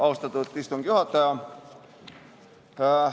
Austatud istungi juhataja!